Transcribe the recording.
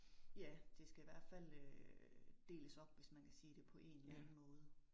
Ja, det skal i hvert fald øh deles op, hvis man kan sige det, på en eller anden måde